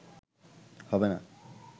হবে না